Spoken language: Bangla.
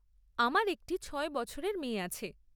আমার একটি ছয় বছরের মেয়ে আছে।